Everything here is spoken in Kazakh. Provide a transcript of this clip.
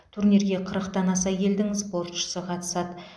турнирге қырықтан аса елдің спортшысы қатысады